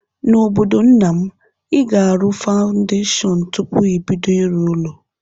N'obodo nna m, ị ga-arụ fawndeshọn tụpụ ibido ịrụ ụlọ.